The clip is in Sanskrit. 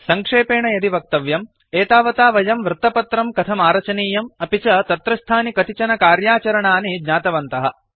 सङ्क्षेपेण यदि वक्तव्यम् एतावता वयं वृत्तपत्रं कथमारचनीयम् अपि च तत्रस्थानि कतिचन कार्याचरणानि ज्ञातवन्तः